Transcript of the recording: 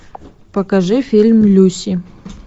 покажи фильм люси